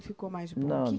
Ficou mais bom, que